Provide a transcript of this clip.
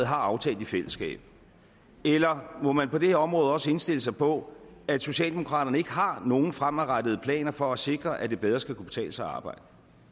har aftalt i fællesskab eller må man på det her område også indstille sig på at socialdemokraterne ikke har nogen fremadrettede planer for at sikre at det bedre skal kunne betale sig at arbejde